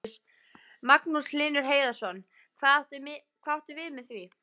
Magnús Hlynur Hreiðarsson: Hvað áttu við með því?